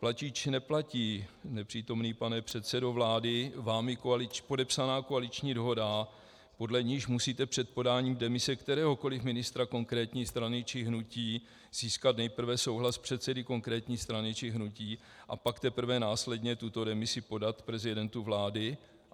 Platí či neplatí, nepřítomný pane předsedo vlády, vámi podepsaná koaliční dohoda, podle níž musíte před podáním demise kteréhokoliv ministra konkrétní strany či hnutí získat nejprve souhlas předsedy konkrétní strany či hnutí, a pak teprve následně tuto demisi podat prezidentu vlády?